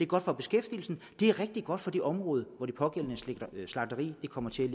godt for beskæftigelsen og det er rigtig godt for det område hvor det pågældende slagteri kommer til